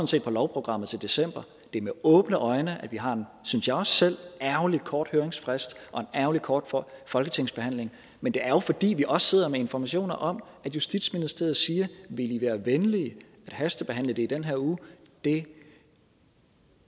set på lovprogrammet til december det er med åbne øjne at vi har en synes jeg også selv ærgerligt kort høringsfrist og en ærgerligt kort folketingsbehandling men det er jo fordi vi også sidder med informationer om at justitsministeriet siger vil i være venlige at hastebehandle det i den her uge det